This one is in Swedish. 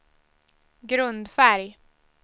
grundfärg